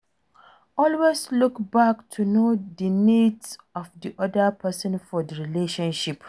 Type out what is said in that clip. Always look back to know di needs of di oda person for di relationship